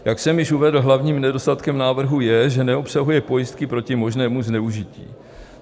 Jak jsem již uvedl, hlavním nedostatkem návrhu je, že neobsahuje pojistky proti možnému zneužití.